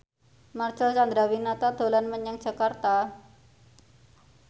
Marcel Chandrawinata dolan menyang Jakarta